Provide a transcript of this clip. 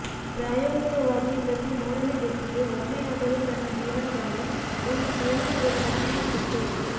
ಪ್ರಾಯೋಗಿಕವಾಗಿ ಪ್ರತಿ ಮೂರನೇ ವ್ಯಕ್ತಿಗೆ ಒಮ್ಮೆಯಾದರೂ ತನ್ನ ಜೀವನದಲ್ಲಿ ಒಂದು ಜೇನುಗೂಡುಗಳನ್ನು ಹೊಂದಿತ್ತು